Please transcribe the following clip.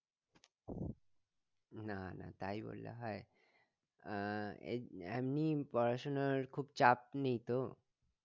না না তাই বললে হয় আহ এমনি পড়াশুনার খুব চাপ নেই তো?